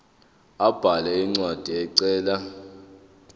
abhale incwadi ecela